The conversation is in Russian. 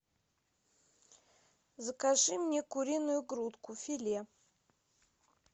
закажи мне куриную грудку филе